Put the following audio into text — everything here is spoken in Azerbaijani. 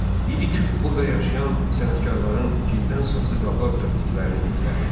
İdi küp burada yaşayan sənətkarların gildən saxsı qablar düzəltdiklərini göstərirdi.